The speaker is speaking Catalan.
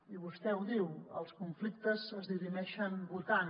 i vostè ho diu els conflictes es dirimeixen votant